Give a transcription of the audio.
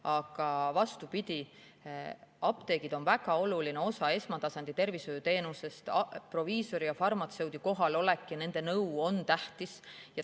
Aga vastupidi, apteegid on väga oluline osa esmatasandi tervishoiuteenusest, proviisori ja farmatseudi kohalolek ja nende nõu on tähtis.